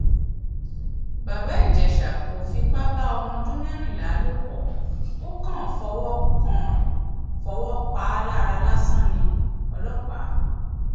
bàbá ìjẹsà kò fipá bá ọmọ ọdún mẹrìnlá lò pó o kàn fọwọ kàn fọwọ pa á lára lásán niọlọpàá